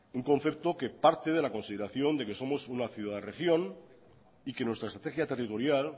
un concepto que parte de la consideración de que somos una ciudad región y que nuestra estrategia territorial